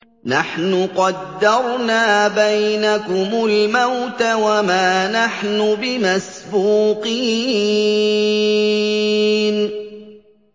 نَحْنُ قَدَّرْنَا بَيْنَكُمُ الْمَوْتَ وَمَا نَحْنُ بِمَسْبُوقِينَ